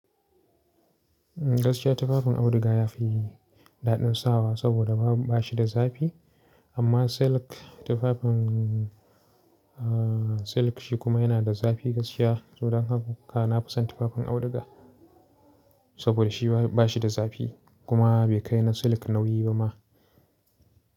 Gaskiya tufafin auduga yafi daɗin sawa saboda ba shi da zafi amma silk tufafin aa silk shi kuma yana da zafi gaskiya. To dan haka nafison tufafin auduga saboda shiba ba shi da zafi kuma bai kai na silk nauyi ba ma.